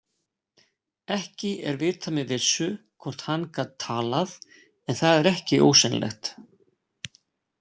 Ekki er vitað með vissu hvort hann gat talað en það er ekki ósennilegt.